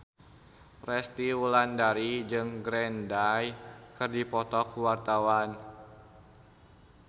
Resty Wulandari jeung Green Day keur dipoto ku wartawan